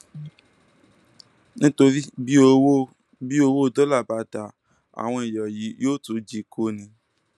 nítorí bí owó bí owó dọlà bá dáa àwọn èèyàn yìí yóò tún jí i kó ní o